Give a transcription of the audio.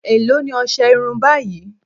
Èló ni ọṣẹ irun báyìí